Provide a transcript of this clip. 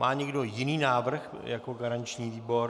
Má někdo jiný návrh jako garanční výbor?